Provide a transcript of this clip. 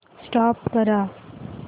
stop करा